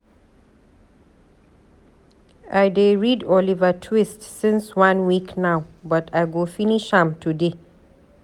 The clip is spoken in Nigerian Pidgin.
I dey read Oliver Twist since one week now, but I go finish am today.